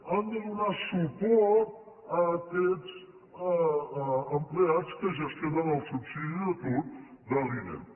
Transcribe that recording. han de donar suport a aquests empleats que gestionen el subsidi d’atur de l’inem